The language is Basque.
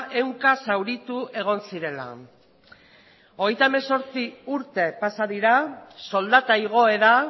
ehunka zauritu egon zirela hogeita hemezortzi urte pasa dira soldata igoera